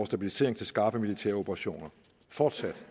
stabilisering til skarpe militære operationer fortsat